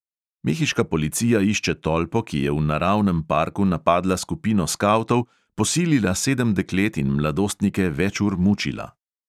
Mehiška policija išče tolpo, ki je v naravnem parku napadla skupino skavtov, posilila sedem deklet in mladostnike več ur mučila.